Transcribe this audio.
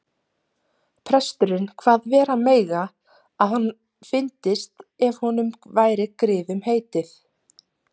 Prestur kvað vera mega að hann fyndist ef honum væri griðum heitið.